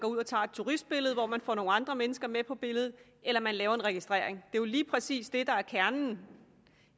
går ud og tager et turistbillede hvor man får nogle andre mennesker med på billedet eller man laver en registrering det jo lige præcis det der er kernen